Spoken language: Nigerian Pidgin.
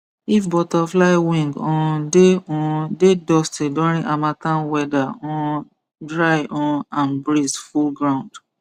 if butterfly wing um dey um dey dusty during harmattan weather um dry um and breeze full ground